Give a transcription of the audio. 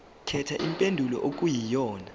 khetha impendulo okuyiyona